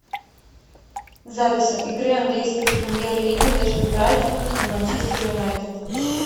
запись игры английской премьер лиги между брайтоном и манчестер юнайтед